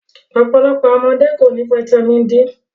Ọpọlọpọ awọn ọmọde ko ni fáítámínì D